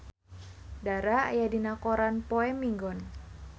Dara aya dina koran poe Minggon